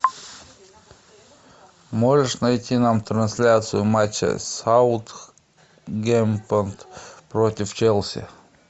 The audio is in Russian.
можешь найти нам трансляцию матча саутгемптон против челси